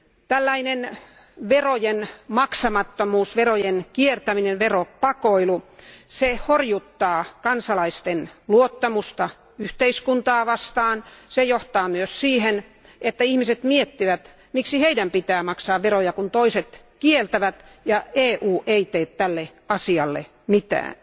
Tällainen verojen maksamattomuus, verojen kiertäminen ja veropakoilu horjuttaa kansalaisten luottamusta yhteiskuntaa kohtaan, ja se myös johtaa siihen, että ihmiset miettivät, miksi heidän pitää maksaa veroja, kun toiset kiertävät niitä ja EU ei tee tälle asialle mitään.